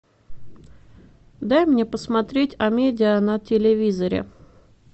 дай мне посмотреть амедиа на телевизоре